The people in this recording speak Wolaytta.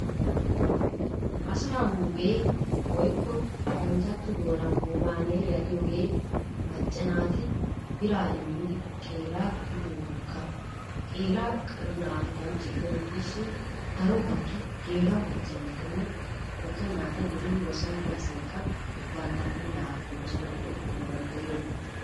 Asaa huuphee woyikko paranjjatto doonan "huumaan heeriya"giyoogee macca naati biraa immidi qeeraa gidide woggaa. Qeera naatu kanchche gidennan diishin daro baggi geela"o macca naatinne wogga naata yelidi ba soon diya asaykka bantta puulaa gujjanawu go"ettana danddayiyooba.